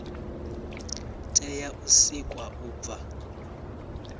tea u sikwa u bva